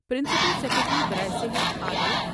principal secretary براۓ صحت آلوک